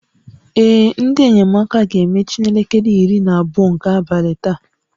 Ee, ndị enyemaka ga-emechi n'elekere iri na abụọ nke abalị taa